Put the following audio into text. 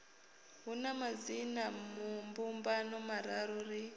hu na madzinambumbano mararu ri